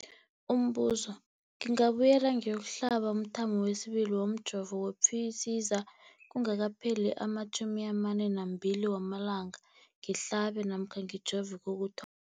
Umbuzo, ngingabuyela ngiyokuhlaba umthamo wesibili womjovo we-Pfizer kungakapheli ama-42 wamalanga ngihlabe namkha ngijove kokuthoma.